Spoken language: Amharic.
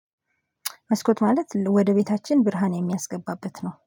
መስኮት ማለት ወደ ቤታችን ብርሃን የሚያስገባበት ነው